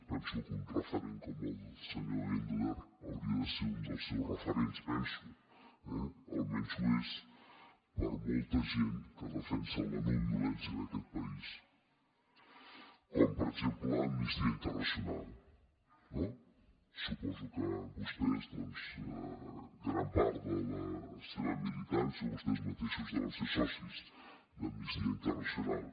penso que un referent com el del senyor engler hauria de ser un dels seus referents penso eh almenys ho és per a molta gent que defensa la no violència en aquest país com per exemple amnistia internacional no suposo que vostès doncs gran part de la seva militància o vostès mateixos deuen ser socis d’amnistia internacional